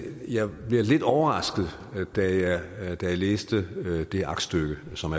jeg blev lidt overrasket da jeg læste det aktstykke som